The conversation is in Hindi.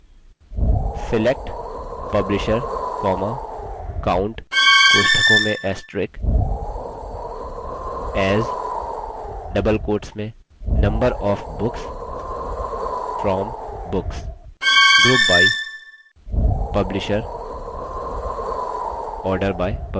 select publisher count * as number of books from books